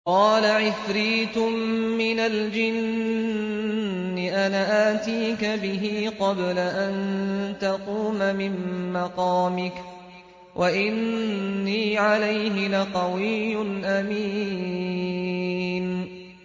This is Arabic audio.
قَالَ عِفْرِيتٌ مِّنَ الْجِنِّ أَنَا آتِيكَ بِهِ قَبْلَ أَن تَقُومَ مِن مَّقَامِكَ ۖ وَإِنِّي عَلَيْهِ لَقَوِيٌّ أَمِينٌ